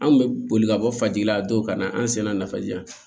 Anw bɛ boli ka bɔ faji la don ka na an sen da nafa ji la